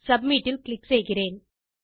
submit ல் click செய்கிறேன்